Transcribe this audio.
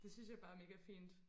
det synes jeg bare er mega fint